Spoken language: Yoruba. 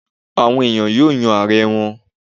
Àwon eniyan yóò yan Aare wọn